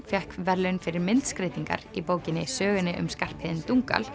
fékk verðlaun fyrir myndskreytingar í bókinni sögunni um Skarphéðin